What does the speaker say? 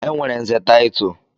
Enwere nze title.